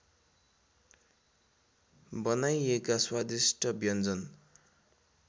बनाइएका स्वादिष्ट व्यन्जन